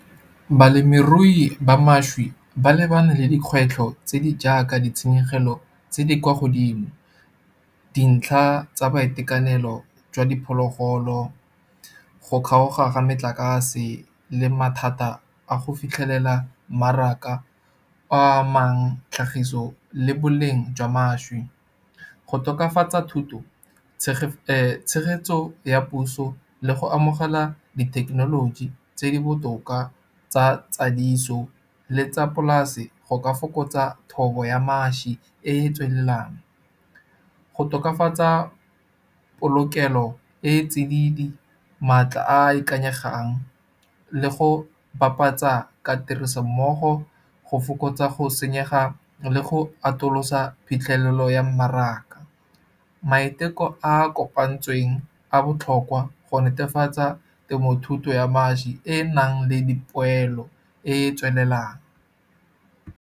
Balemirui ba mašwi ba lebane le dikgwetlho tse di jaaka ditshenyegelo tse di kwa godimo. Dintlha tsa boitekanelo jwa diphologolo, go kgaoga ga metlakase le mathata a go fitlhelela mmaraka a amang tlhagiso le boleng jwa mašwi. Go tokafatsa thuto tshegetso ya puso le go amogela di thekenoloji tse di botoka tsa tsadiso, le tsa polase go ka fokotsa thobo ya mašwi e e tswelelang. Go tokafatsa polokelo e tsididi, maatla a a ikanyegang le go bapatsa ka tirisommogo, go fokotsa go senyega le go atolosa phitlhelelo ya mmaraka. Maiteko a kopantsweng a botlhokwa go netefatsa temothuto ya mašwi, e e nang le dipoelo e e tswelelang.